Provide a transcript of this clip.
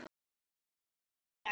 Þetta gerist ekki strax.